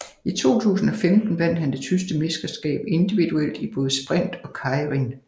I 2015 vandt han det tyske mesterskab individuelt i både sprint og keirin